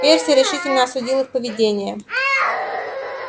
перси решительно осудил их поведение